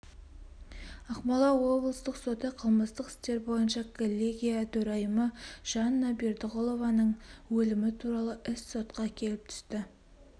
ақмола облыстық соты қылмыстық істер бойынша коллегия төрайымы жанна бердығұлованың өлімі туралы іс сотқа келіп түсті